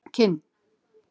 Kinn